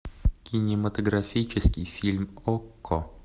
кинематографический фильм окко